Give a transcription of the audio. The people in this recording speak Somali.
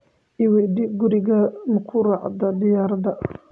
I weydii, guriga ma ku raacdaa diyaarad?